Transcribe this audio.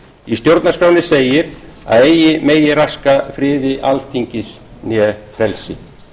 í stjórnarskránni segir að eigi megi raska friði alþingis né frelsi